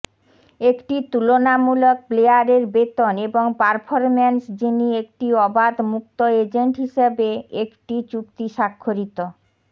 একটি তুলনামূলক প্লেয়ারের বেতন এবং পারফরম্যান্স যিনি একটি অবাধ মুক্ত এজেন্ট হিসাবে একটি চুক্তি স্বাক্ষরিত